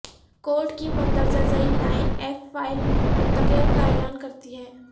code کی مندرجہ ذیل لائن ایف فائل متغیر کا اعلان کرتی ہے